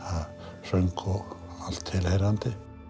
söng og allt tilheyrandi